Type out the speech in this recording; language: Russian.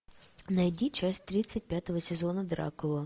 найди часть тридцать пятого сезона дракула